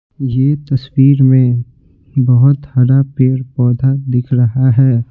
यह तस्वीर में बहुत हरा पेर पौधा दिख रहा है।